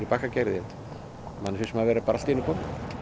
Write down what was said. manni finnst maður bara vera allt í einu kominn